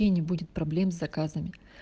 и не будет проблем с заказами